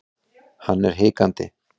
Hann er hikandi.